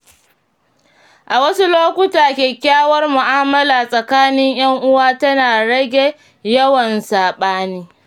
A wasu lokuta, kyakkyawar mu’amala tsakanin ‘yan uwa tana rage yawan saɓani.